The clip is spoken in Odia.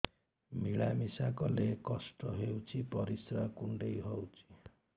ମିଳା ମିଶା କଲେ କଷ୍ଟ ହେଉଚି ପରିସ୍ରା କୁଣ୍ଡେଇ ହଉଚି